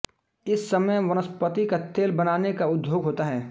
इस समय वनस्पति का तेल बनाने का उद्योग होता है